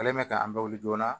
Ale mɛ ka an bɛ wuli joona